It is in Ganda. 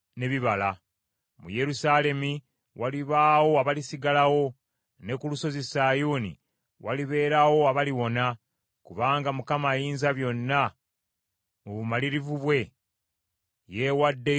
Mu Yerusaalemi walibaawo abalisigalawo ne ku Lusozi Sayuuni walibeerawo abaliwona, kubanga Mukama Ayinzabyonna mu bumalirivu bwe, yeewaddeyo okukikola.